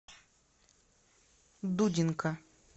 дудинка